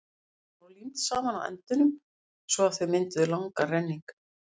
blöðin voru límd saman á endunum svo að þau mynduðu langan renning